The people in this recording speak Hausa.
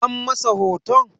An masa hoton?